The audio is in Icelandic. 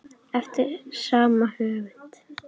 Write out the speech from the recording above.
Eftir sama höfund